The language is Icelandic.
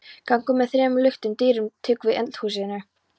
Gangur með þremur luktum dyrum tók við af eldhúsinu.